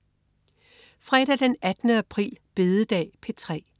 Fredag den 18. april. Bededag - P3: